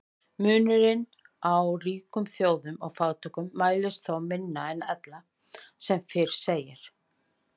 Munurinn á ríkum þjóðum og fátækum mælist þó minni en ella sem fyrr segir.